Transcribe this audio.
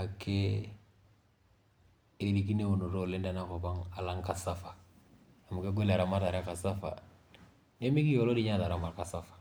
ake erikino eunoto oleng tenankop alang kasava amu kegol eramatare e kasava. Nemekiloo ninye kataram kasava.